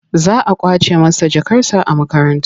Za a ƙwace masa jakarsa a makaranta.